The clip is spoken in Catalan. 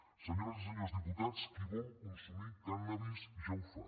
senyores i senyors diputats qui vol consumir cànnabis ja ho fa